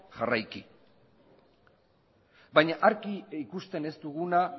jarraiki baina argi ikusten ez duguna